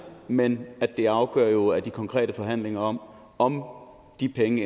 men at det afgørende jo er de konkrete forhandlinger om om de penge